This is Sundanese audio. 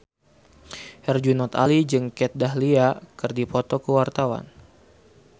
Herjunot Ali jeung Kat Dahlia keur dipoto ku wartawan